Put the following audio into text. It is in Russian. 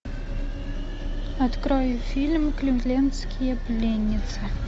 открой фильм кливлендские пленницы